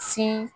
Sin